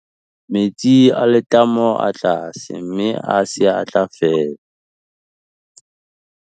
metsi a letamo a tlase mme a se a tla fela